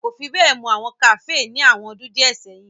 A ko fi be mọ awọn kafee ni awọn ọdun diẹ sẹyin.